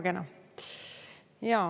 Väga kena.